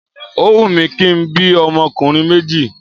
Óhun mi kí n bí ọmọkùnrin méjì